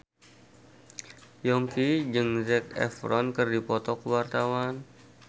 Yongki jeung Zac Efron keur dipoto ku wartawan